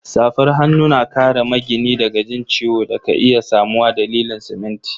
Safar hanu na kare magini daga jin ciwo da ka iya samuwa dalilin siminti.